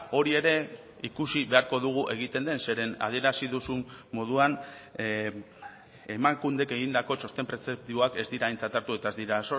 hori ere ikusi beharko dugu egiten den zeren adierazi duzun moduan emakundek egindako txosten prezeptiboak ez dira aintzat hartu eta ez dira